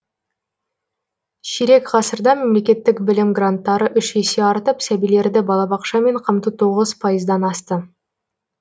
ширек ғасырда мемлекеттік білім гранттары үш есе артып сәбилерді балабақшамен қамту тоғыз пайыздан асты